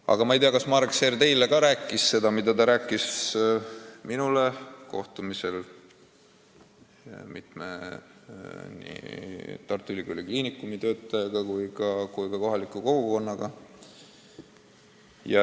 Samas ma ei tea, kas Marek Seer ka teile rääkis seda, mida ta rääkis minule kohtumisel mitme Tartu Ülikooli Kliinikumi töötajaga ja ka kohaliku kogukonnaga.